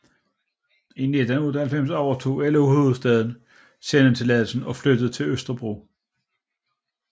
I 1998 overtog LO Hovedstaden sendetilladelsen og flyttede til Østerbro